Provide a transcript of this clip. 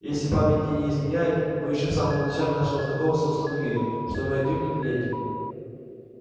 если память мне не изменяет мы ещё самом начале нашего знакомства установили что вы отнюдь не леди